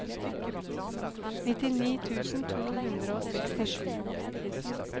nittini tusen to hundre og sekstisju